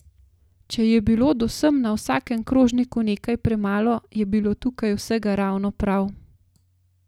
Če je bilo do sem na vsakem krožniku nekaj premalo, je bilo tukaj vsega ravno prav!